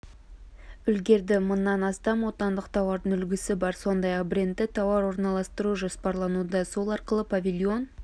үлгерді мыңнан астам отандық тауардың үлгісі бар сондай-ақ брендті тауар орналастыру жоспарлануда сол арқылы павильон